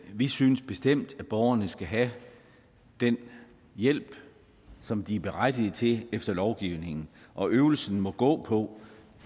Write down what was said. vi synes bestemt at borgerne skal have den hjælp som de er berettigede til efter lovgivningen og øvelsen må gå på